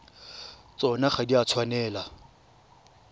tsona ga di a tshwanela